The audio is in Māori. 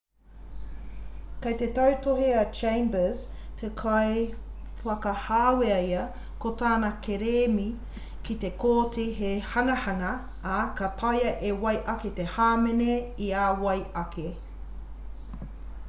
kei te tautohe a chambers he kaiwhakahāwea ia ko tana kerēmi ki te kōti he hangahanga ā ka taea e wai ake te hāmene i a wai ake